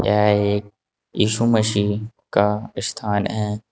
यह एक यीशु मसीह का स्थान है।